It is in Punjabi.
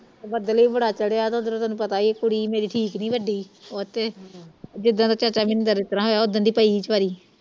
ਬੱਦਲ ਵੀ ਬੜਾ ਚੜਿਆ ਤੇ ਉਧੋਰ ਤੈਨੂੰ ਪਤਾ ਮੇਰੀ ਕੁੜੀ ਠੀਕ ਨੀ ਵੱਡੀ ਉਥੇ ਜਿੱਦਣ ਚਾਚਾ ਮਿੰਦਰ ਉਸ ਤਰ੍ਹਾਂ ਹੋਇਆ ਉਦਣ ਦੀ ਪਈ ਵਿਚਾਰੀ